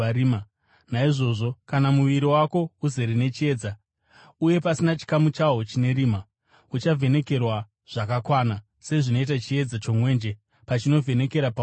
Naizvozvo kana muviri wako wose uzere nechiedza, uye pasina chikamu chawo chine rima, uchavhenekerwa zvakakwana, sezvinoita chiedza chomwenje pachinovhenekera pauri.”